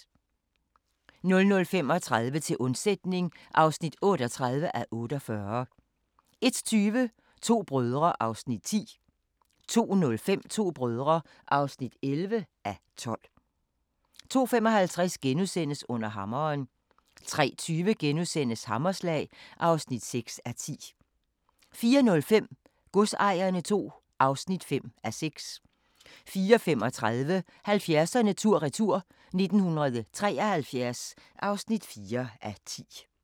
00:35: Til undsætning (38:48) 01:20: To brødre (10:12) 02:05: To brødre (11:12) 02:55: Under hammeren * 03:20: Hammerslag (6:10)* 04:05: Godsejerne II (5:6) 04:35: 70'erne tur-retur: 1973 (4:10)